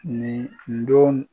Nin don